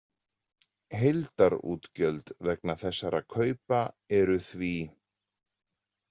Heildarútgjöld vegna þessara kaupa eru því